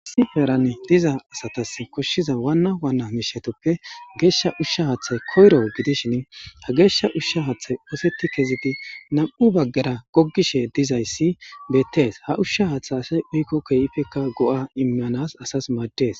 Issi heeran diiza asatas koshshiza waana waana mishshatappe geshsha uusha haththay koyro gidishin ha geshsha uusha haththay oseti kezidi nam'u baggera goggishe dizays bettes ha uusha haththey asas kehippe go'a immanas maddes.